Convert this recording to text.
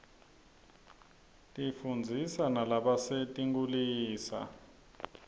tifundzisa nalabasetinkhulisa